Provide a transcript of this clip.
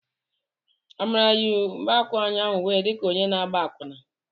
Amara yi mgbaukwu ụnyaahụ wee di ka onye na-agba akwụna.